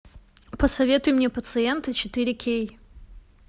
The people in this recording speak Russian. посоветуй мне пациенты четыре кей